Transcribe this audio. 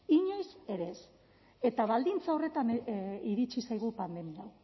inoiz ere ez eta baldintza horretan iritsi zaigu pandemia